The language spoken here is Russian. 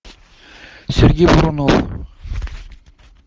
сергей бурунов